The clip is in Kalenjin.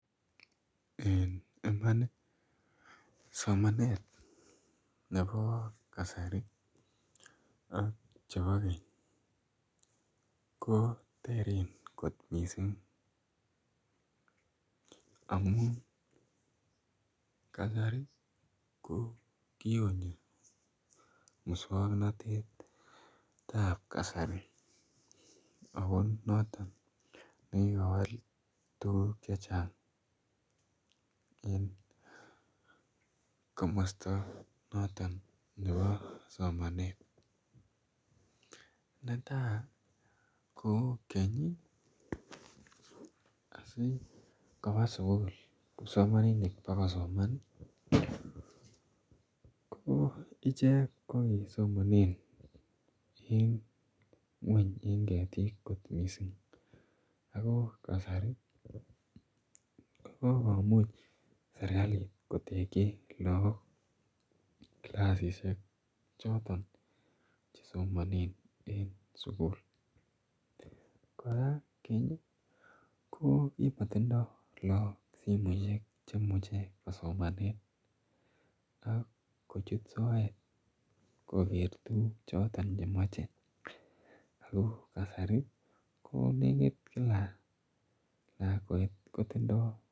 Eng Iman somanet nebo kasari ak chebo keny ko teren kot mising amun kasari ko kikonyo musongnotet ap kasari ako noton nekikowal tukuk che chang eng komosta noton nebo somanet netai ko keny asikoba sukul kipsomaninik pokosoman ko ichek ko kisomone en ng'weny eng ketik kot missing ako kasari kokomuch serikalit kotekchi laak kilasishek choton chesomonee en sukul kora keny ko kimotindoi laak simoshek cheimuche kosomane ak kochut soet ko ker tukuk choton chemochei Ako kasari ko kila lakwet kotindoi